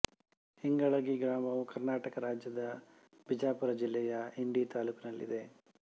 ಇಂಗಳಗಿ ಗ್ರಾಮವು ಕರ್ನಾಟಕ ರಾಜ್ಯದ ಬಿಜಾಪುರ ಜಿಲ್ಲೆಯ ಇಂಡಿ ತಾಲ್ಲೂಕಿನಲ್ಲಿದೆ